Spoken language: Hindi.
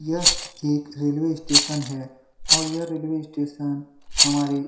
यह एक रेलवे स्टेशन है और यह रेलवे स्टेशन हमारे --